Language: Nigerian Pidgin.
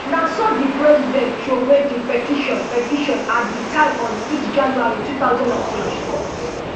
na so di president throway di petition petition at di time on six january two thousand and twenty-four